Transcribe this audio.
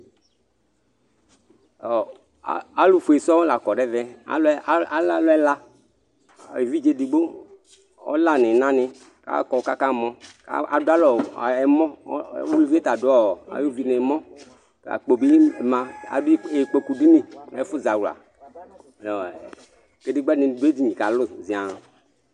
Alufue sɔsɔ lakɔ nu ɛvɛ ale alu ɛla evidze edigbo ɔla nɔnani akɔ kaka mɔ adualɛɛmɔ uluvie ta adu ayu uvie nu ɛmɔ akpo bi ma adu ikpoku dinyi kadegba kalu nu edinye zian